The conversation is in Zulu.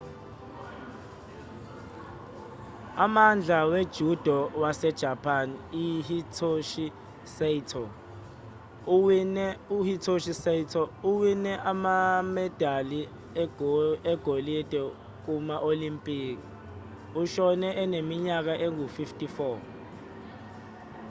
umdlali we-judo wasejapani uhitoshi saito owine amamedali egolide kuma-olimpiki ushone eneminyaka engu-54